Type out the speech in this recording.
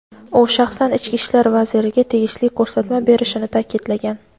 u shaxsan Ichki ishlar vaziriga tegishli ko‘rsatma berishini ta’kidlagan.